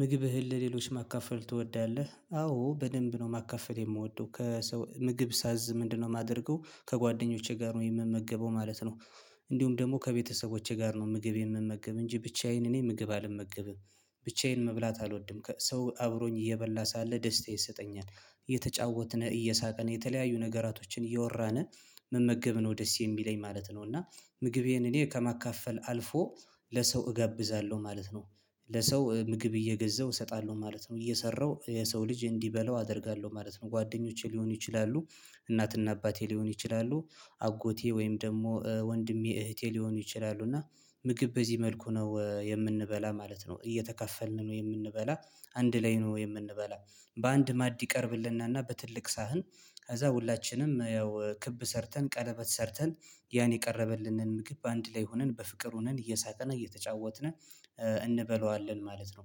ምግብህን ለሌሎች ማካፈል ትወዳለህ? አዎ በደንብ ነው ማካፈል የምወደው ከሰው ምግብ ሳዝ ምንድነው የማደርገው ከጓደኞቼ ጋር ነው የምመገበው ማለት ነው። እንዲሁም ደግሞ ከቤተሰቦቼ ጋር ነው ምግብ የምመገብ እንጂ ብቻዬን እኔ ምግብ አልመገብም። ብቻዬን መብላት አልወድም ከ ሰው አብሮኝ እየበላ ሳለ ደስታ ይሰጠኛል። እየተጫወትን እየሳቅን የተለያዩ ነገራቶችን እየወራን መመገብ ነው ደስ የሚለኝ ማለት ነው። እና ምግቤን እኔ ከማካፈል አልፎ ለሰው እጋብዛለሁ ማለት ነው። ለሰው ምግብ እየገዛሁ እሰጣለሁ ማለት ነው እየሰራሁ የሰው ልጅ እንዲበላው አደርጋለሁ ማለት ነው። ጓደኞቼ ሊሆኑ ይችላሉ እናትና አባቴ ሊሆን ይችላሉ አጎቴ ወይም ደግሞ ወንድሜ እህቴ ሊሆኑ ይችላሉ። እና ምግብ በዚህ መልኩ ነው የምንበላ ማለት ነው እየተካፈልን ነው የምንበላ። አንድ ላይ ነው የምንበላ። በአንድ ማዕድ ይቀርብልነና በትልቅ ሳህን። ከዛ ሁላችንም ያው ክብ ሰርተን ቀለበት ሰርተን። ያን የቀረበልንን ምግብ አንድ ላይ ሆነን በፍቅር ሆነን እየሳቀን እየተጫወትን እንበለዋለን ማለት ነው።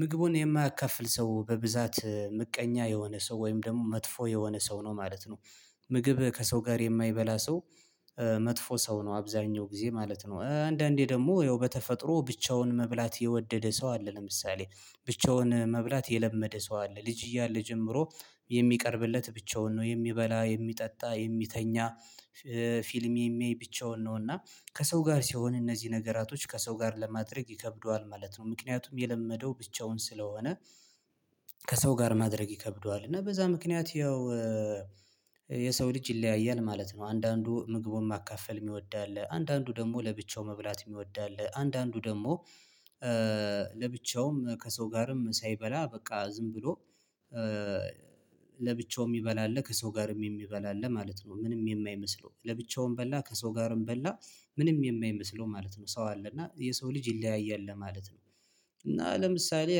ምግቡን የማያካፍል ሰው በብዛት ምቀኛ የሆነ ሰው ወይም ደግሞ መጥፎ የሆነ ሰው ነው ማለት ነው። ምግብ ከሰው ጋር የማይበላ ሰው መጥፎ ሰው ነው አብዛኛው ጊዜ ማለት ነው። አንዳንዴ ደግሞ ያው በተፈጥሮ ብቻውን መብላት የወደደ ሰው አለ ለምሳሌ ብቻውን መብላት የለመደ ሰው አለ ልጅ እያለ ጀምሮ የሚቀርብለት ብቻውን ነው የሚበላ የሚጠጣ የሚተኛ። ፊልም የሚያይ ብቻውን ነውና ከሰው ጋር ሲሆን እነዚህ ነገራቶች ከሰው ጋር ለማድረግ ይከብደዋል ማለት ነው። ምክንያቱም የለመደው ብቻውን ስለሆነ ከሰው ጋር ማድረግ ይከብደዋል እና በዛ ምክንያት ያው የሰው ልጅ ይለያያል ማለት ነው። አንዳንዱ ምግቡን ማካፈል የሚወድ አለ አንዳንዱ ደግሞ ለብቻው መብላት የሚወድ አለ። አንዳንዱ ደግሞ ለብቻውም ከሰው ጋርም ሳይበላ በቃ ዝም ብሎ ለብቻው የ ሚበላ አለ ከሰው ጋርም የሚበላ አለ ማለት ነው። ምንም የማይመስለው ለብቻውም በላ ከሰው ጋርም በላ ምንም የማይመስለው ማለት ነው። ሰው አለ እና የሰው ልጅ ይለያያል ለማለት ነው። እና ለምሳሌ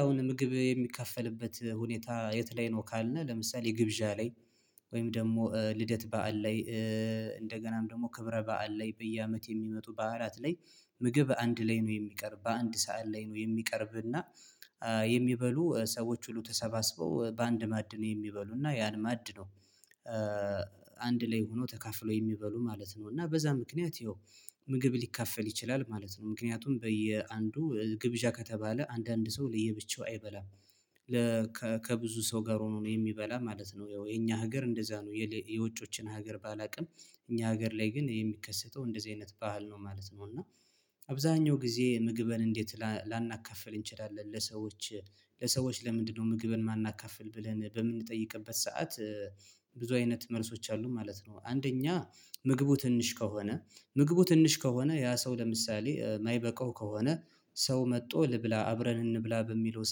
አሁን ምግብ የሚከፈልበት ሁኔታ የት ላይ ነው ካልነ ለምሳሌ ግብዣ ላይ። ወይም ደግሞ ልደት በዓል ላይ እንደገናም ደግሞ ክብረ በዓል ላይ በየአመት የሚመጡ በዓላት ላይ። ምግብ አንድ ላይ ነው የሚቀርብ በአንድ ሰዓት ላይ ነው የሚቀርብ እና የሚበሉ ሰዎች ሁሉ ተሰባስበው በአንድ ማዕድ ነው የሚበሉ እና ያን ማዕድ ነው። አንድ ላይ ሆነው ተካፍለው የሚበሉ ማለት ነው እና በዛ ምክንያት ያው ምግብ ሊካፈል ይችላል ማለት ነው። ምክንያቱም በየአንዱ ግብዣ ከተባለ አንዳንድ ሰው ለየብቻው አይበላም ለከ ከብዙ ሰው ጋር ሆኖ ነው የሚበላ ማለት ነው። ያው የኛ ሀገር እንደዛ ነው የሌ የውጮችን ሀገር ባላውቅም እኛ ሀገር ላይ ግን የሚከሰተው እንደዚህ አይነት ባህል ነው ማለት ነው። እና አብዛኛው ጊዜ ምግብን እንዴት ላናካፍል እንችላለን? ለሰዎች ለሰዎች ለምንድነው ምግብን የማናካፍል ብለን በምንጠይቅበት ሰዓት ብዙ አይነት መልሶች አሉ ማለት ነው። አንደኛ ምግቡ ትንሽ ከሆነ ምግቡ ትንሽ ከሆነ ያ ሰው ለምሳሌ የማይበቃው ከሆነ ሰው መጥቶ ልብላ አብረን እንብላ በሚለው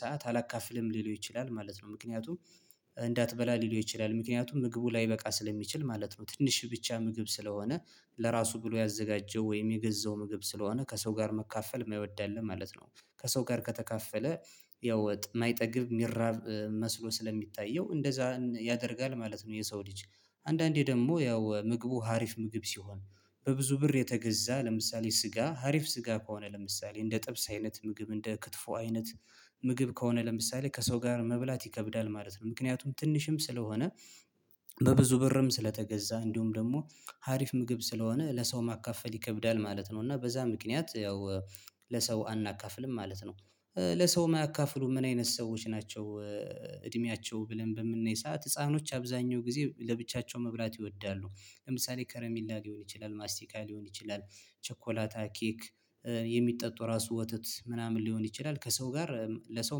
ሰዓት አላካፍልም ሊለው ይችላል ማለት ነው። ምክንያቱም እንዳትበላ ሊለው ይችላል ምክንያቱም ምግቡ ላይበቃ ስለሚችል ማለት ነው። ትንሽ ብቻ ምግብ ስለሆነ ለራሱ ብሎ ያዘጋጀው ወይም የገዛው ምግብ ስለሆነ ከሰው ጋር መካፈል የማይወድ አለ ማለት ነው። ከሰው ጋር ከተካፈለ ያው ወጥ የማይጠግብ የሚራብ መስሎ ስለሚታየው እንደዛ ያደርጋል ማለት ነው። የሰው ልጅ አንዳንዴ ደግሞ ያው ምግቡ ሀሪፍ ምግብ ሲሆን በብዙ ብር የተገዛ ለምሳሌ ስጋ ሀሪፍ ስጋ ከሆነ ለምሳሌ እንደ ጥብስ አይነት ምግብ እንደ ክትፎ አይነት ምግብ ከሆነ ለምሳሌ ከሰው ጋር መብላት ይከብዳል ማለት ነው። ምክንያቱም ትንሽም ስለሆነ በብዙ ብርም ስለተገዛ እንዲሁም ደግሞ ሀሪፍ ምግብ ስለሆነ ለሰው ማካፈል ይከብዳል ማለት ነው። እና በዛ ምክንያት ያው ለሰው አናካፍልም ማለት ነው። ለሰውም የማያካፍሉም ምን አይነት ሰዎች ናቸው? እድሜያቸው ብለን በምናይ ሰዓት ህፃኖች አብዛኛው ጊዜ ለብቻቸው መብላት ይወዳሉ ለምሳሌ ከረሚላ ሊሆን ይችላል ማስቲካ ሊሆን ይችላል ቸኮላታ ኬክ የሚጠጡ ራሱ ወተት ምናምን ሊሆን ይችላል ከሰው ጋር ለሰው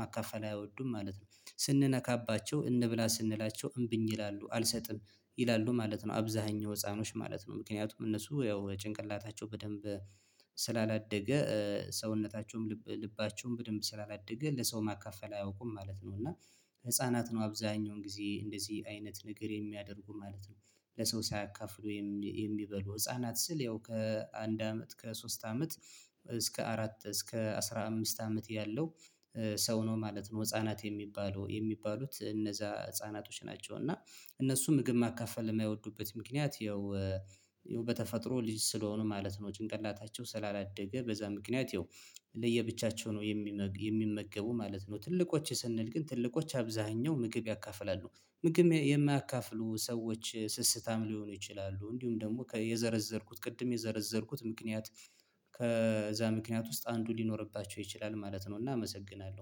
ማካፈል አይወዱም ማለት ነው። ስንነካባቸው እንብላ ስንላቸው እምብኝ ይላሉ አልሰጥም ይላሉ ማለት ነው። አብዛኛው ህፃኖች ማለት ነው ምክንያቱም እነሱ ያው ጭንቅላታቸው በደንብ ስላላደገ ሰውነታቸውም ልብ ልባቸውም በደንብ ስላላደገ ለሰው ማካፈል አያውቁም ማለት ነው። እና ህፃናት ነው አብዛኛውን ጊዜ እንደዚህ አይነት ነገር የሚያደርጉም ማለት ነው። ለሰው ሳያካፍሉ የሚበሉ ህፃናት ስል ያው ከአንድ አመት ከሶስት አመት እስከ አራት እስከ አስራ አምስት አመት ያለው ሰው ነው ማለት ነው። ህፃናት የሚባለው የሚባሉት እነዛ ህፃናቶች ናቸው። እና እነሱ ምግብ ማካፈል የማይወዱበት ምክንያት ያው ያው በተፈጥሮ ልጅ ስለሆኑ ማለት ነው። ጭንቀታቸው ስላላደገ በዛ ምክንያት ያው ለየብቻቸው ነው የሚመገቡ ማለት ነው። ትልልቆች ስንል ግን ትልልቆች አብዛኛው ምግብ ያካፍላሉ ምግብ የማያካፍሉ ሰዎች ስስታም ሊሆኑ ይችላሉ። እንዲሁም ደግሞ ከ የዘረዘርኩት ቅድም የዘረዘርኩት ምክንያት ከዛ ምክንያት ውስጥ አንዱ ሊኖርባቸው ይችላል ማለት ነው። እና አመሰግናለሁ